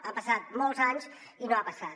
han passat molts anys i no ha passat